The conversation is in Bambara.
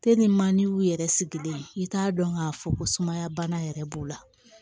yɛrɛ sigilen i t'a dɔn k'a fɔ ko sumaya bana yɛrɛ b'u la